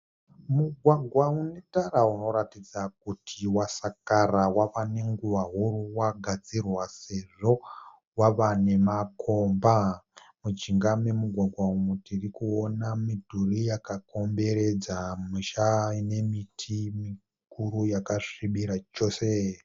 Mugwagwa unetara unoratidza kuti wasakara, wavanenguva huru wakadzirwa sezvo wava nemakomba. Mujinga memugwagwa umu tirikuona midhuri yakakomboredza misha nemiti mikuru yakasvibira chose.